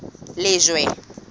lejwe